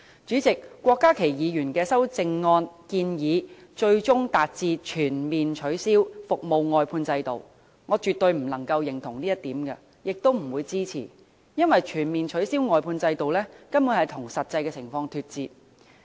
主席，郭家麒議員的修正案建議最終達致全面取消服務外判制度，這一點我絕對不能認同，亦不會予以支持，因為全面取消外判制度根本與實際情況脫節。